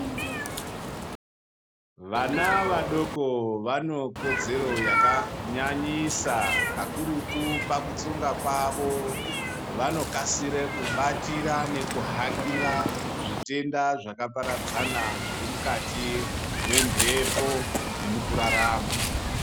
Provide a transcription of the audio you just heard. Vana vadoko vanekodzero yakanyanyisa kakurutu pakutsonga kwavo vanokasire kubatira nekuhakira zvitenda zvakaparadzana zvirimukati mwemhepo nemukurarama.